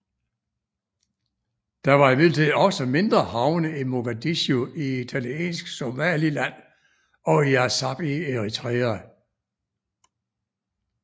Der var imidlertid også mindre havne i Mogadishu i Italiensk Somaliland og i Assab i Eritrea